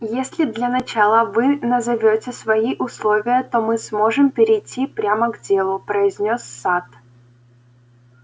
если для начала вы назовёте свои условия то мы сможем перейти прямо к делу произнёс сатт